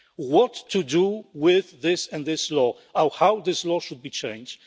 courts what to do with this and that law, or how this law should be changed.